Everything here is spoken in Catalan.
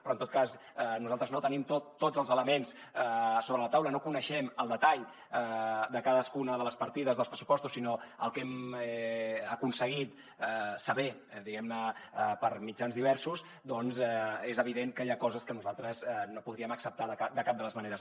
però en tot cas nosaltres no tenim tots els elements sobre la taula no coneixem el detall de cadascuna de les partides dels pressupostos sinó el que hem aconseguit saber diguemne per mitjans diversos doncs i és evident que hi ha coses que nosaltres no podríem acceptar de cap de les maneres